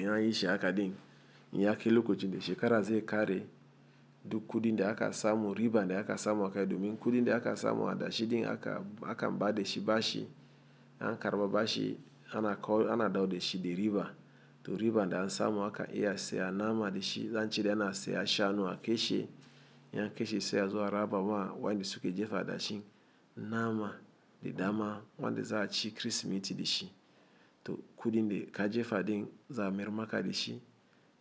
In an yishi haka din, in ya kai lokocin da shekara zai kare duk kudin da aka samu, riban da aka samu akai domin. Kudin da aka samu adashi din aka, aka ba da shi bashi. An karɓa bashi ana dawo da shi da riba. Toh riban da an samu aka iya saya nama da shi. Zan cire ana saya shanu ake shi. In an ke she sai azo a raba wa wanda suke jefa adashin. Nama, da dama wanda za'a ci Kirsimeti da shi. Toh kudin da ka jefa din za'a mayr ma ka da shi.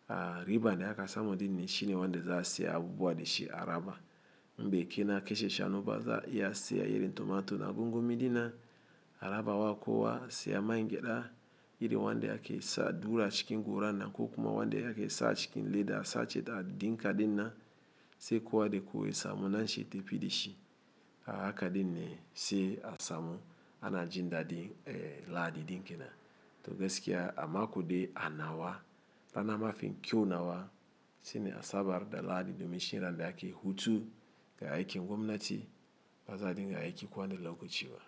A riban da aka samu din shi ne wanda za a saya abubuwa da shi araba. In bekai na ke she shanu ba, za iya saya irin tomato na gungumi dinnan. A raba wa kowa saya mangeɗa iri wanda ake sa du a cikin goran nan, ko kuma wanda ake sa cikin leda. Sa ce da dinka din nan, sai kowa da kowa ya samu na shi ya tafi da shi. A haka din ne sai a samu ana jin daɗin, eh, lahadi din ke nan. Toh, gaskiya a mako de a nawa. Bana mafi kyau nawa. Shine asabar da lahadi, dumin shi yana da yake hutu. Ga aiki gwamnati, ba za din ga aiki kowani lokaci ba.